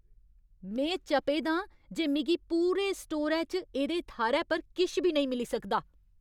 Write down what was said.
में चपे दा आं जे मिगी पूरे स्टोरै च एह्दे थाह्‌रै पर किश बी नेईं मिली सकदा।